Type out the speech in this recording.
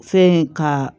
Fɛn in ka